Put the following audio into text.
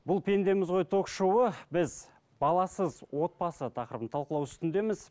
бұл пендеміз ғой ток шоуы біз баласыз отбасы тақырыбын талқылау үстіндеміз